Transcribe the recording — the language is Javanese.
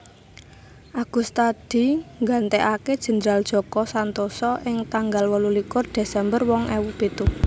Agustadi nggantèkaké Jendral Djoko Santoso ing tanggal wolulikur Desember rong ewu pitu